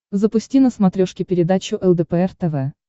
запусти на смотрешке передачу лдпр тв